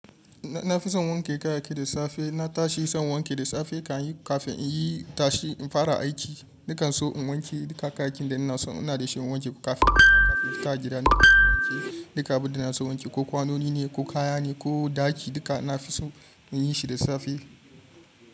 Na fi son wanke kayayyaki da safe. Na tashi son wanke da safe kafin in yi tashi in fara aiki. Nakan so in wanke duka kayakin da ina so. Ina da shan wanke kafin in tafi gida. Ina so in wanke duka abin da na so wanke, ko kwanoni ne ko kaya ne ko ɗaki duka ina fi so in yi shi da safe.